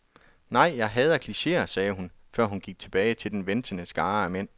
Nej, jeg hader klicheer, sagde hun, før hun gik tilbage til den ventende skare af mænd.